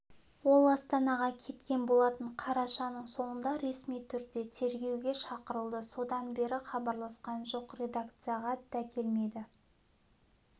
ол астанаға кеткен болатын қарашаның соңында ресми түрде тергеуге шақырылды содан бері хабарласқан жоқ редакцияға дакелмеді